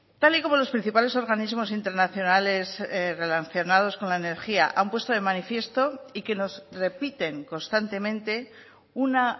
tal y como los principales organismos internacionales relacionados con la energía han puesto de manifiesto y que nos repiten constantemente una